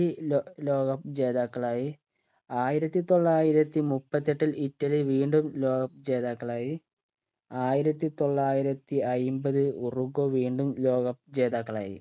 law ലോക cup ജേതാക്കളായ് ആയിരത്തി തൊള്ളായിരത്തി മുപ്പത്തെട്ടിൽ ഇറ്റലി വീണ്ടും ലോകകപ്പ് ജേതാക്കളായി ആയിരത്തി തൊള്ളായിരത്തി അയ്മ്പത് ഉറുഗോ വീണ്ടും ലോക cup ജേതാക്കളായി